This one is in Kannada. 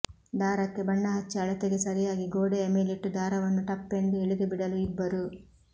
ದಾರಕ್ಕೆ ಬಣ್ಣ ಹಚ್ಚಿ ಅಳತೆಗೆ ಸರಿಯಾಗಿ ಗೋಡೆಯ ಮೇಲಿಟ್ಟು ದಾರವನ್ನು ಟಪ್ಪೆಂದು ಎಳೆದುಬಿಡಲು ಇಬ್ಬರು